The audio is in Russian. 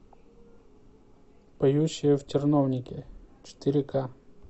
поющие в терновнике четыре ка